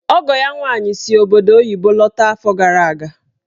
Ọgọ ya nwaanyị si obodo oyibo lọta afọ gara aga.